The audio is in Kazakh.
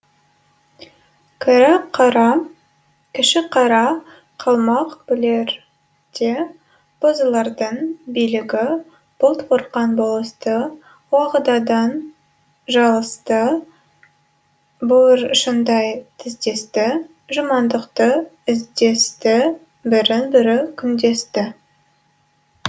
кіші қара қалмақ бүлерде бозылардың билігі бұлт бұрқан болысты уағыдадан жылысты буыршындай тіздесті жамандықты іздесті бірін бірі күндесті